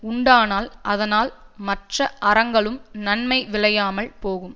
உண்டானால் அதனால் மற்ற அறங்கலும் நன்மை விளையாமல் போகும்